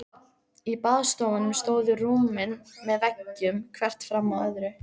Í baðstofunum stóðu rúmin með veggjum, hvert fram af öðru.